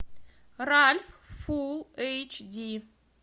ральф фул эйч ди